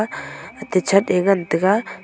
atai che aa ngan taiga.